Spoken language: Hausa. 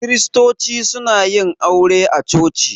Kiristoci suna yin aure a coci.